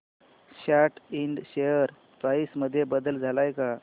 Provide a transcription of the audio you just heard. सॅट इंड share price मध्ये बदल आलाय का